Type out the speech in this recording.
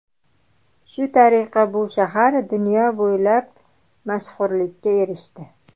Shu tariqa bu shahar dunyo bo‘ylab mashhurlikka erishdi.